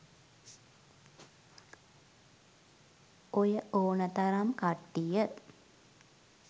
ඔය ඕන තරම් කට්ටිය